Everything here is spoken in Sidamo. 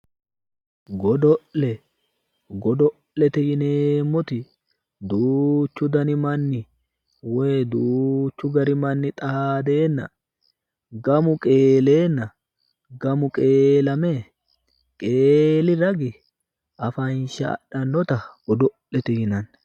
Godo'le, godo'lete yineemmoti duuchu dani manni woy duuchu dani manni xaadeenna gamu qeeleenna gamu qeelame, qeeli ragi afansha adhannota godo'lete yinanni.